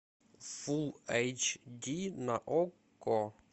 фул эйч ди на окко